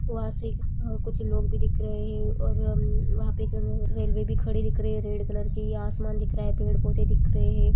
वहाँ से अ कुछ लोग भी दिख रहे हैं और अम वहाँ पे एक रेलवे भी खड़ी दिख रही है रेड कलर की आसमान दिख रहा है पेड़-पौधे दिख रहे हैं।